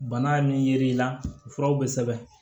Bana min yer'i la furaw bɛ sɛbɛn